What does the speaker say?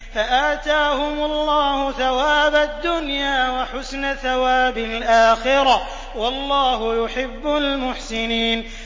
فَآتَاهُمُ اللَّهُ ثَوَابَ الدُّنْيَا وَحُسْنَ ثَوَابِ الْآخِرَةِ ۗ وَاللَّهُ يُحِبُّ الْمُحْسِنِينَ